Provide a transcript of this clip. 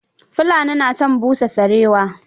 Fulani na son busa sarewa.